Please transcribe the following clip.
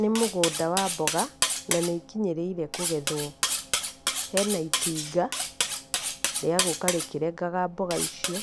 Nĩ mũgũnda wa mboga, na nĩikinyĩrĩire kũgethwo, hena itinga, rĩa gũka rĩkĩrengaga mboga icio